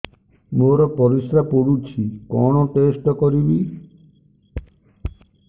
ମୋର ପରିସ୍ରା ପୋଡୁଛି କଣ ଟେଷ୍ଟ କରିବି